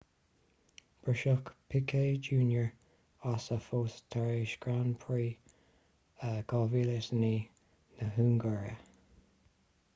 briseadh piquet jr as a phost tar éis grand prix 2009 na hungáire